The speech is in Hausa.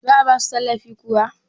za a ba su tallafi kuwa?